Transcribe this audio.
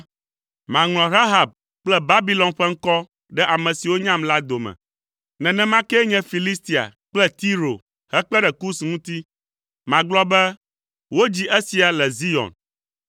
“Maŋlɔ Rahab kple Babilon ƒe ŋkɔ ɖe ame siwo nyam la dome, nenema kee nye Filistia kple Tiro hekpe ɖe Kus ŋuti, magblɔ be, ‘Wodzi esia le Zion.’ ”